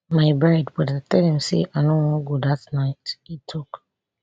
my bride but i tell dem say i no wan go dat night e tok